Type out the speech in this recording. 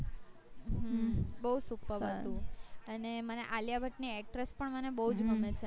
હમ બૌ superb હતું અને મને આલિયા ભટ્ટ ની actress પણ બુજ ગમે છે